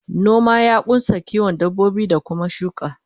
noma ya kunsa kiwon dabbobi ko Kuma shuka